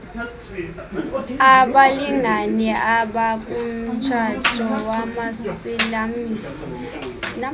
abalngane abakumtshato wamasilamsi